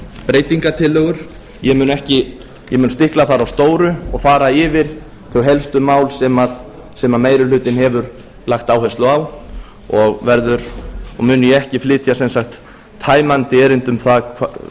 breytingartillögur ég mun stikla þar á stóru og fara yfir þau helstu mál sem meiri hlutinn hefur lagt áherslu á og mun ég ekki flytja sem sagt tæmandi erindi um það